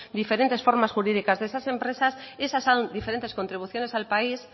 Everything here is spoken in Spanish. diferentes formas jurídicas de esas empresas y esas son diferentes contribuciones al país